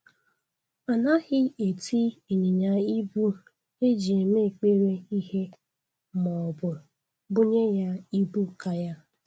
Anaghị eti ịnyanya ibu e ji eme ekpere ihe maọbụ bunye ya ibu ka ya